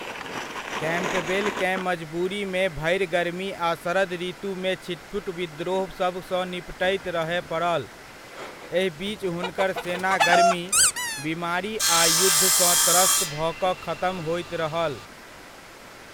Campbell केँ मजबूरीमे भरि गरमी आ शरद ऋतुमे छिटपुट विद्रोह सभ सऽ निपटैत रहय पड़ल, एहि बीच हुनकर सेना गर्मी, बीमारी आ युद्ध सऽ त्रस्त भऽ कऽ खतम होइत रहल।